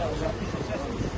Yaxşı, yoxdur.